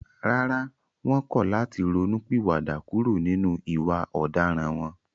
Rárá, wọ́n kọ̀ láti ronú pìwà dà kúrò nínú ìwà ọ̀daràn wọn